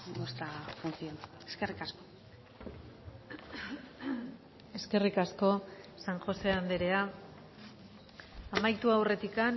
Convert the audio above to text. nuestra función eskerrik asko eskerrik asko san josé andrea amaitu aurretik